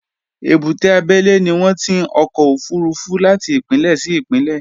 Èbúté abẹ́lé ni wọn ti ń ọkọ̀ òfurufú láti ìpínlẹ̀ sí ìpínlẹ̀